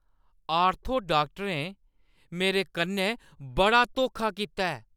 Ortho डाक्टरें मेरे कन्नै बड़ा धोखा कीता ऐ।